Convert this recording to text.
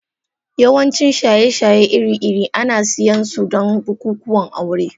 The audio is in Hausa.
Yawancin shaye-shaye iri-iri ana siyan su don bukukuwan aure.